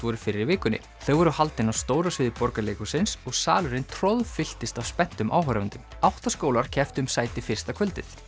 voru fyrr í vikunni þau voru haldin á stóra sviði Borgarleikhússins og salurinn troðfylltist af spenntum áhorfendum átta skólar kepptu um sæti fyrsta kvöldið